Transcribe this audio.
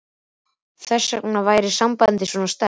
Þess vegna væri sambandið svona sterkt.